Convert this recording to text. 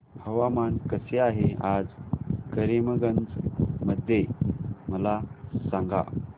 हवामान कसे आहे आज करीमगंज मध्ये मला सांगा